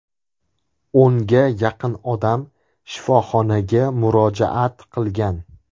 O‘nga yaqin odam shifoxonaga murojaat qilgan.